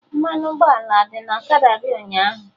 Mmanụ ụgbọala adị na ọkada gị ụnyaahụ?.